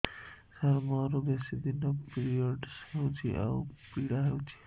ସାର ମୋର ବେଶୀ ଦିନ ପିରୀଅଡ଼ସ ହଉଚି ଆଉ ପୀଡା ହଉଚି